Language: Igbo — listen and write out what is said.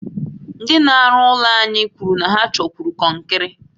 Ndị n'aru ụlọ anyi kwuru na ha chọkwuru konkiri